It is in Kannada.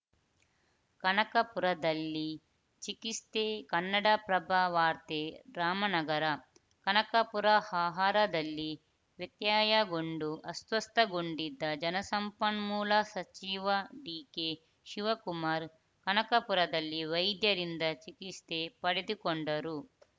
ಕನಕಪುರದಲ್ಲಿ ಚಿಕಿತ್ಸೆ ಕನ್ನಡಪ್ರಭ ವಾರ್ತೆ ರಾಮನಗರಕನಕಪುರ ಆಹಾರದಲ್ಲಿ ವ್ಯತ್ಯಯಗೊಂಡು ಅಸ್ವಸ್ಥಗೊಂಡಿದ್ದ ಜಲಸಂಪನ್ಮೂಲ ಸಚಿವ ಡಿಕೆ ಶಿವಕುಮಾರ್‌ ಕನಕಪುರದಲ್ಲಿ ವೈದ್ಯರಿಂದ ಚಿಕಿತ್ಸೆ ಪಡೆದುಕೊಂಡರು